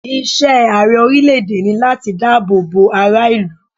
Iṣẹ́ Ààrẹ orílẹ̀ èdè ni láti dá àbọ̀ bo ara ìlú.